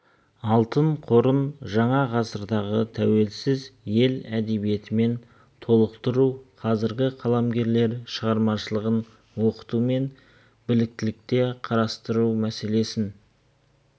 алтын қорын жаңа ғасырдағы тәуелсіз ел әдебиетімен толықтыру қазіргі қаламгерлер шығармашылығын оқытумен бірлікте қарастыру мәселесін